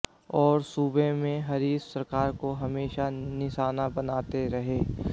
और सूबे में हरीश सरकार को हमेशा निशाना बनाते रहे